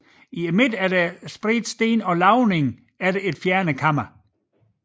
I midten spredte sten og lavning efter fjernet kammer